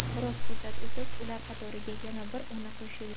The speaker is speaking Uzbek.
Biroz fursat o‘tib, ular qatoriga yana bir ona qo‘shildi.